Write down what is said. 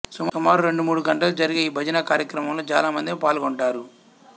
సుమారు రెండు మూడు గంటలు జరిగే ఈ భజన కార్యక్రమంలో చాలామందే పాల్గొంటారు